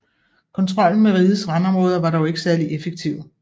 Kontrollen med rigets randområder var dog ikke særlig effektiv